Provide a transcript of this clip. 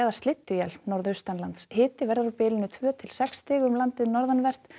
slydduél norðaustanlands hiti veður á bilinu tvö til sex stig um landið norðanvert